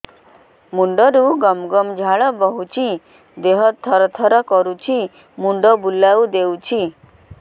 ମୁଣ୍ଡରୁ ଗମ ଗମ ଝାଳ ବହୁଛି ଦିହ ତର ତର କରୁଛି ମୁଣ୍ଡ ବୁଲାଇ ଦେଉଛି